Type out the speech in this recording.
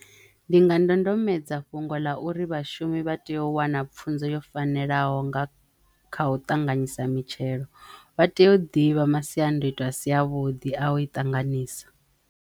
Ndi nga ndondomaedza fhungo ḽa uri vhashumi vha teyo u wana pfunzo yo fanelaho nga kha u ṱanganyisa mitshelo vha teyo ḓivha masiandoitwa a si a vhuḓi a u i ṱanganisa.